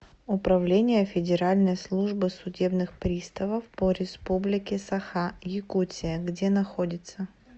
управление федеральной службы судебных приставов по республике саха якутия где находится